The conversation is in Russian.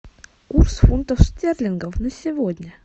курс фунтов стерлингов на сегодня